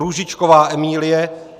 Růžičková Emílie